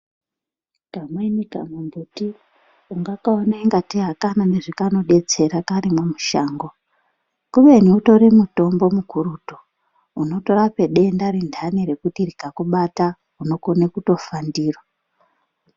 Kamweni kamumbuti ungakaone ungateyi haoana zvakanodetdera karimwo mushango kubeni utoru mutombo mukurutu unotorape denda rindani rekuti rika kubata unokona kutofa ndiro.